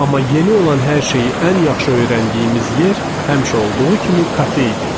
Amma yeni olan hər şeyi ən yaxşı öyrəndiyimiz yer həmişə olduğu kimi kafe idi.